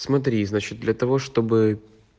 смотри значит для того чтобы